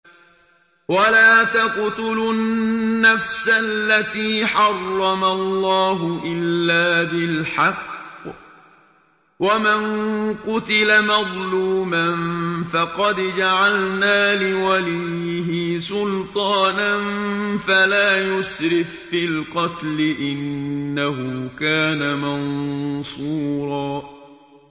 وَلَا تَقْتُلُوا النَّفْسَ الَّتِي حَرَّمَ اللَّهُ إِلَّا بِالْحَقِّ ۗ وَمَن قُتِلَ مَظْلُومًا فَقَدْ جَعَلْنَا لِوَلِيِّهِ سُلْطَانًا فَلَا يُسْرِف فِّي الْقَتْلِ ۖ إِنَّهُ كَانَ مَنصُورًا